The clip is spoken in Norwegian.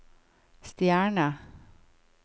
stjerne